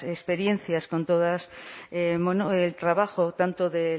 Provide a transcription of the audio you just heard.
experiencias con todo el trabajo tanto